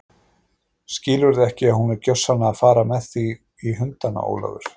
Skilurðu ekki að hún er gjörsamlega að fara með þig í hundana, Ólafur?